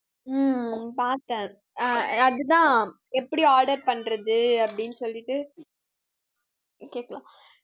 ஹம் பார்த்தேன் ஆஹ் அதுதான் எப்படி order பண்றது அப்படின்னு சொல்லிட்டு கேக்கலாம்